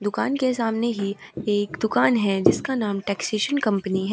दुकान के सामने ही एक दुकान है जिसका नाम है टैक्सेशन कंपनी है।